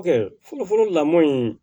Fɔlɔ fɔlɔ lamɔn in